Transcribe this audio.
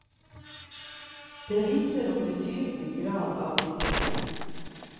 Det vitner om betydelig grad av disiplin.